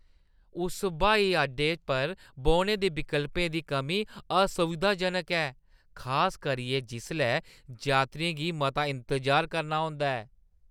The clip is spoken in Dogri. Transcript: इस ब्हाई अड्डे पर बौह्‌ने दे विकल्पें दी कमी असुविधाजनक ऐ, खास करियै जिसलै यात्रियें गी मता इंतजार करना होंदा ऐ।